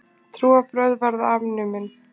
Trúarbrögð verða afnumin.